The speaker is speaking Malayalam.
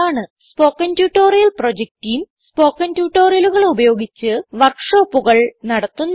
spoken tutorial project team spoken ട്യൂട്ടോറിയലുകൾ ഉപയോഗിച്ച് വർക്ക് ഷോപ്പുകൾ നടത്തുന്നു